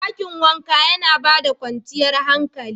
Dakin wanka yana ba da kwanciyar hankali.